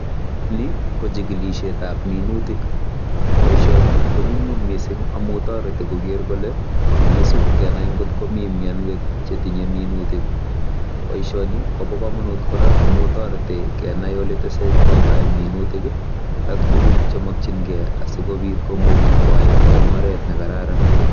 Ni, ko chikilishetab minutik. Boisoni, ko nyumnyum missing amu toreti koker kakisub kenai ngotko mii mianwek chetinye minutik. Boisoni kobo kamanut kora, amu toreti kenai ole tesetoi tai minutik, ak tuguk che makchinkei asikobit komuch kwai eng oret ne kararan.